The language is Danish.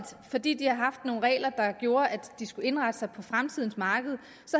fordi de har haft nogle regler der gjorde at de skulle indrette sig på fremtidens marked